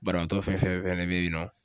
Banabaatɔ fɛn fɛn bɛ yen nɔ